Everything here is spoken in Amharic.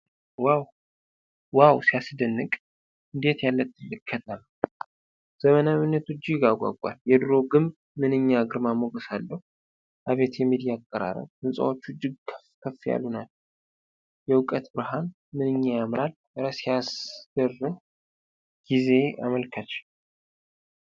ዋው ሲያስደንቅ! እንዴት ያለ ትልቅ ከተማ! ዘመናዊነቱ እጅግ ያጓጓል። የድሮው ግንብ ምንኛ ግርማ ሞገስ አለው! አቤት የሚዲያ አቀራረብ! ሕንፃዎቹ እጅግ ከፍ ያሉ ናቸው። የዕውቀት ብርሃን ምንኛ ያምራል! እረ ሲያስገርም የጊዜ አመልካች!